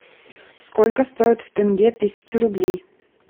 сколько стоит в тенге тысяча рублей